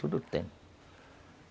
Tudo